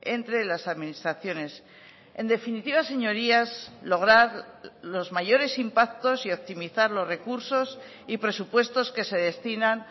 entre las administraciones en definitiva señorías lograr los mayores impactos y optimizar los recursos y presupuestos que se destinan